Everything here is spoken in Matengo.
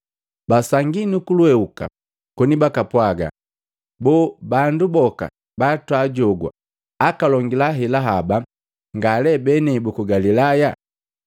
Basangi nukulwehuka koni bakapwaga, “Boo, bandu boka batwajogwa akalongela hela haba, nga lee benei buku Galilaya!